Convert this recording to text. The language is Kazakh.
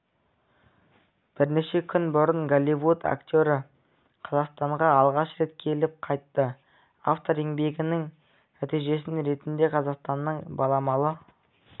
бірнеше күн бұрын голливуд актері қазақстанға алғаш рет келіп қайтты автор еңбегінің нәтижесі ретінде қазақстанның баламалы